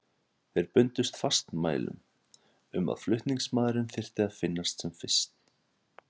Þeir bundust fastmælum um að flutningsmaðurinn þyrfti að finnast sem fyrst.